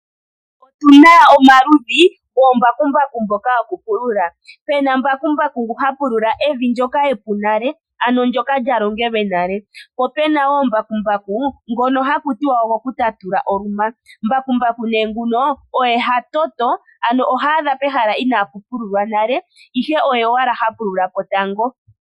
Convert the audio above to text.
Otuna omaludhi goombakumbaku mboka yoku pulula, pena mbakumbaku ngoka ha pulula evi ndyoka epu nale ano evi ndyoka lya longelwe nale, po puna woo ishewe mbakumbaku ngono hakuti ogoku tatula oluma, mbakumbaku nguno oye hatoto ano ohaadha pehala inapu pululwa nale ihe oye owala ha pulula po tango.